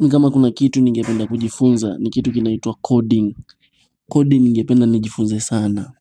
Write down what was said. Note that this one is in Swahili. Mi kama kuna kitu ningependa kujifunza ni kitu kinaituwa coding. Coding ningependa nijifunze sana.